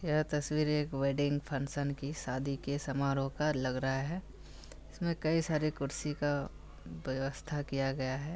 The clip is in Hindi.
यह तस्वीर एक वेडिंग फंक्शन की शादी के समारोह का लग रहा हैं इसमें कई सारे कुर्सी का व्यवस्था किया गया है।